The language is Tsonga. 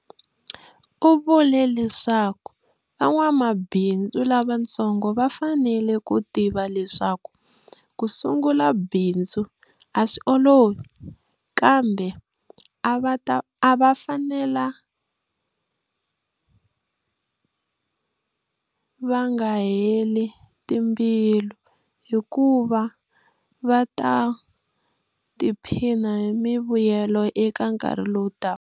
U vule leswaku van'wamabindzu lavatsongo va fanele ku tiva leswaku ku sungula bindzu a swi olovi, kambe a va fanela va nga va heli timbilu hikuva va ta tiphina hi mivuyelo eka nkarhi lowu taka.